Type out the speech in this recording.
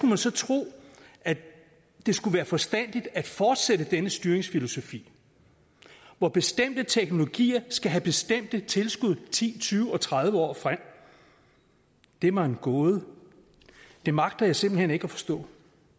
man så tro at det skulle være forstandigt at fortsætte denne styringsfilosofi hvor bestemte teknologier skal have bestemte tilskud i ti tyve og tredive år frem det er mig en gåde det magter jeg simpelt hen ikke at forstå